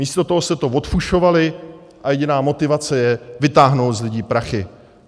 Místo toho jste to odfušovali a jediná motivace je vytáhnout z lidí prachy.